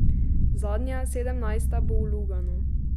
Zadnja, sedemnajsta bo v Luganu.